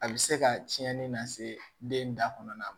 A bɛ se ka cɛnni lase den da kɔnɔna ma